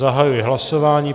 Zahajuji hlasování.